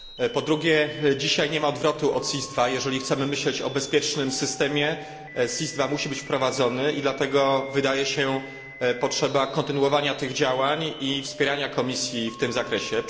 Po drugie dzisiaj nie ma odwrotu od SIS II. Jeżeli chcemy myśleć o bezpiecznym systemie, SIS II musi być wprowadzony i dlatego wydaje się potrzebne kontynuowanie tych działań i wspieranie Komisji w tym zakresie.